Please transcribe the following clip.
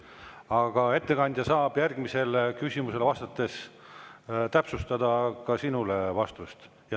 Aga ettekandja saab järgmisele küsimusele vastates täpsustada ka sinule vastust.